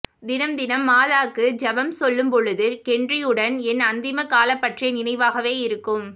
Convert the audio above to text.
தினம் தினம் மாதாக்கு செபம் சொல்லும் பொழுது கென்றியுடன் என் அந்திமக் காலம் பற்றிய நினைவாகவே இருக்கும்